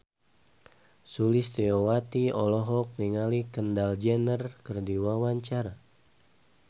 Sulistyowati olohok ningali Kendall Jenner keur diwawancara